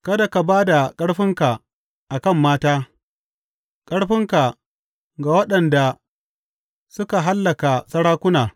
Kada ka ba da ƙarfinka a kan mata, ƙarfinka ga waɗanda suka hallaka sarakuna.